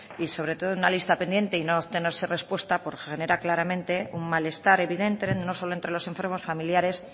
y sobre todo en una lista pendiente y no obtenerse respuesta pues genera claramente un malestar evidente no solo entre los enfermos familiares